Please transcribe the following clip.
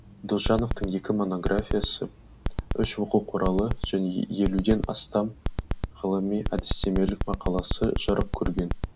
досжановтың екі монографиясы үш оқу құралы және елуден астам ғылыми әдістемелік мақаласы жарық көрген